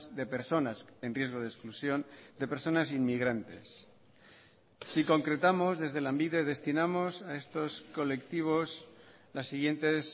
de personas en riesgo de exclusión de personas inmigrantes si concretamos desde lanbide destinamos a estos colectivos las siguientes